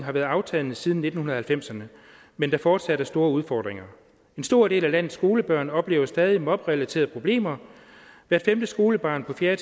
har været aftagende siden nitten halvfemserne men der fortsat er store udfordringer en stor del af landets skolebørn oplever stadig mobberelaterede problemer hvert femte skolebarn på fjerde